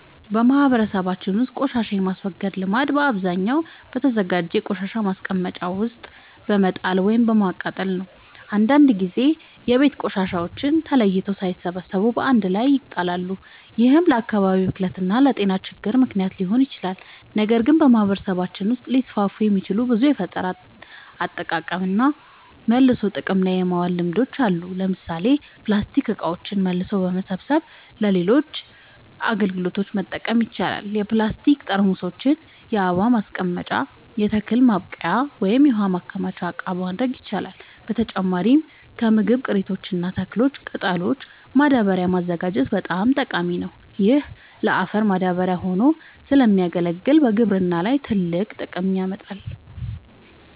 በማህበረሰባችን ውስጥ ቆሻሻን የማስወገድ ልምድ በአብዛኛው በተዘጋጀ የቆሻሻ ማስቀመጫ ውስጥ በመጣል ወይም በማቃጠል ነው። አንዳንድ ጊዜ የቤት ቆሻሻዎች ተለይተው ሳይሰበሰቡ በአንድ ላይ ይጣላሉ፤ ይህም ለአካባቢ ብክለት እና ለጤና ችግሮች ምክንያት ሊሆን ይችላል። ነገር ግን በማህበረሰባችን ውስጥ ሊስፋፉ የሚችሉ ብዙ የፈጠራ አጠቃቀምና መልሶ ጥቅም ላይ ማዋል ልምዶች አሉ። ለምሳሌ ፕላስቲክ እቃዎችን መልሶ በመሰብሰብ ለሌሎች አገልግሎቶች መጠቀም ይቻላል። የፕላስቲክ ጠርሙሶችን የአበባ ማስቀመጫ፣ የተክል ማብቀያ ወይም የውሃ ማከማቻ እቃ ማድረግ ይቻላል። በተጨማሪም ከምግብ ቅሪቶች እና ከተክል ቅጠሎች ማዳበሪያ ማዘጋጀት በጣም ጠቃሚ ነው። ይህ ለአፈር ማዳበሪያ ሆኖ ስለሚያገለግል በግብርና ላይ ትልቅ ጥቅም ያመጣል።